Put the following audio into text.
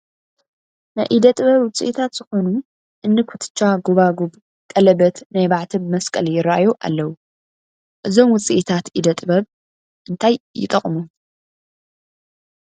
ናይ ኢድ ጥበብ ውፅኢታት ዝኾኑ እኒ ኩትቻ፣ ጐባግብ፣ ቀለበት፣ ናይ ማዕተብ መስቀል ይርአዩ ኣለዉ፡፡ እዞም ውፅኢታት እደ ጥበብ እንታይ ይጠቕሙ?